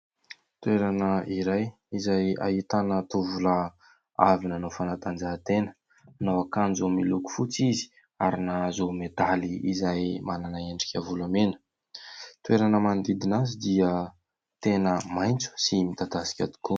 Toerana iray, izay ahitana tovolahy avy nanao fanatanjahan-tena. Manao akanjo miloko fotsy izy ary nahazo medaly izay manana endrika volamena. Ny toerana manodidina azy dia tena maitso sy midadasika tokoa.